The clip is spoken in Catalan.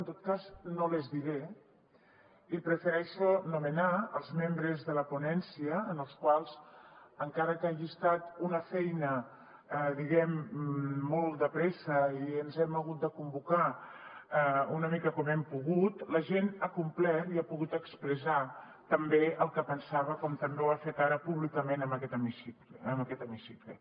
en tot cas no les diré i prefereixo anomenar els membres de la ponència els quals encara que hagi estat una feina diguem ne molt de pressa i ens hem hagut de convocar una mica com hem pogut la gent ha complert i ha pogut expressar també el que pensava com també ho ha fet ara públicament en aquest hemicicle